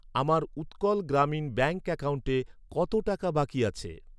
আমার উৎকল গ্রামীণ ব্যাঙ্ক অ্যাকাউন্টে কত টাকা বাকি আছে?